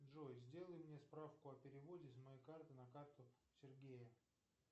джой сделай мне справку о переводе с моей карты на карту сергея